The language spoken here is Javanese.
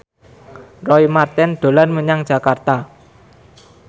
Roy Marten dolan menyang Jakarta